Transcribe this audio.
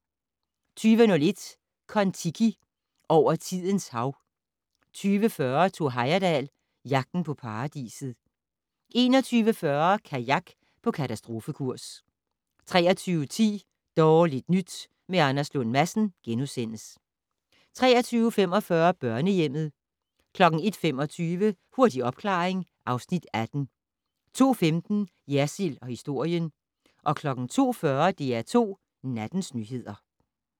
20:01: Kon-Tiki - over tidens hav 20:40: Thor Heyerdahl - Jagten på paradiset 21:40: Kajak på katastrofekurs 23:10: Dårligt nyt med Anders Lund Madsen * 23:45: Børnehjemmet 01:25: Hurtig opklaring (Afs. 18) 02:15: Jersild & historien 02:40: DR2 Nattens nyheder